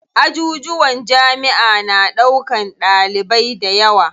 Ajujuwan jamiʼa na ɗaukan ɗalibai dayawa.